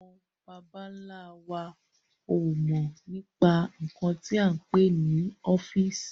Àwọn bàbà ńla wa ó mọ nípa nkan tí a ń pè ní ọ́fíìsì